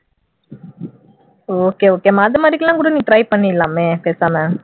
okay okay மா அந்த மாதிரி எல்லாம் கூட நீ try பண்ணிரலாமே பேசாம